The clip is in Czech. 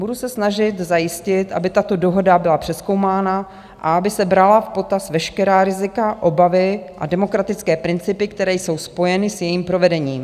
Budu se snažit zajistit, aby tato dohoda byla přezkoumána a aby se brala v potaz veškerá rizika, obavy a demokratické principy, které jsou spojeny s jejím provedením.